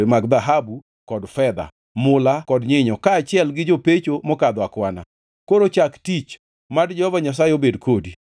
mag dhahabu, kod fedha, mula kod nyinyo kaachiel gi jopecho mokadho akwana. Koro chak tich, mad Jehova Nyasaye obed kodi.”